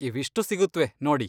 ಇವಿಷ್ಟು ಸಿಗುತ್ವೆ ನೋಡಿ.